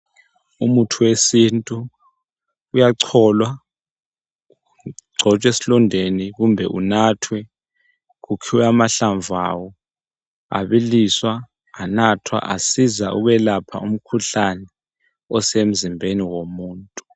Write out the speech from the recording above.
Umuthi wesintu uyacholwa, ugcotshwe esilondeni kumbe unathwe. Kukhiwa amahlamvu awo abiliswa, anathwa asiza ukuyelapha umkhuhlane osemzimbeni womuntu.